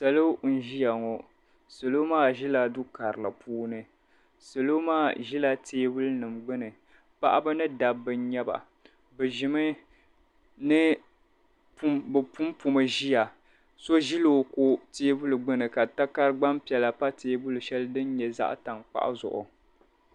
salo n-ʒiya ŋɔ salo maa ʒila du' karili puuni salo maa ʒila teebuli nima gbunni paɣaba ni dabba n-nyɛ ba bɛ punpumi n-ʒiya so ʒila o kɔ teebuli gbunni ka takara gbaŋ' piɛla pa teebuli shɛli din nyɛ zaɣ' tankpaɣu zuɣu.